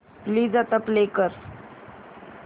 please आता play कर